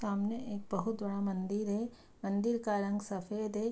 सामने एक बहुत बड़ा मंदिर है मंदिर का रंग सफ़ेद है।